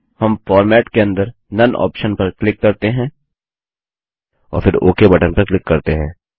हम फॉर्मेट के अंदर नोने ऑप्शन पर क्लिक करते हैं और फिर ओक बटन पर क्लिक करते हैं